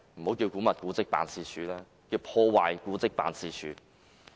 我認為，古蹟辦應該易名為破壞古蹟辦事處。